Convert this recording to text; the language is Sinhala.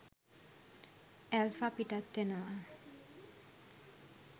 ඇල්ෆා පිටත් වෙනවා.